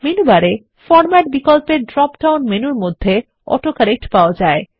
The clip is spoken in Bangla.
মেনু বারে ফরমেট বিকল্পের ড্রপ ডাউন মেনুর মধ্যে অটো কারেক্ট পাওয়া যায়